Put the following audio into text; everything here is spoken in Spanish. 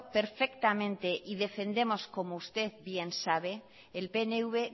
perfectamente y defendemos como usted bien sabe el pnv